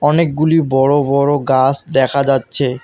অনেকগুলি বড় বড় গাস দেখা যাচ্ছে।